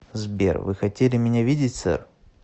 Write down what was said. сбер вы хотели меня видеть сэр